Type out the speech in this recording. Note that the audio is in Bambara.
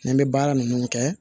N bɛ baara ninnu kɛ